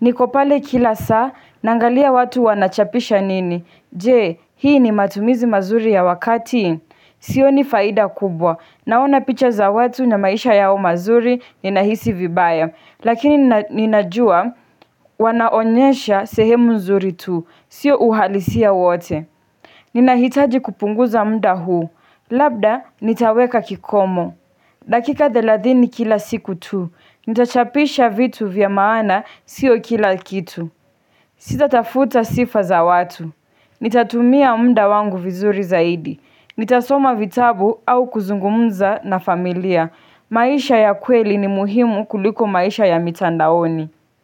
Niko pale kila saa, naangalia watu wanachapisha nini. Je, hii ni matumizi mazuri ya wakati? Sioni faida kubwa. Naona picha za watu na maisha yao mazuri, ninahisi vibaya. Lakini ninajua, wanaonyesha sehemu nzuri tu. Sio uhalisia wote. Ninahitaji kupunguza muda huu. Labda, nitaweka kikomo. Dakika thelathini kila siku tu. Nitachapisha vitu vya maana sio kila kitu Sitatafuta sifa za watu Nitatumia muda wangu vizuri zaidi Nitasoma vitabu au kuzungumza na familia maisha ya kweli ni muhimu kuliko maisha ya mitandaoni.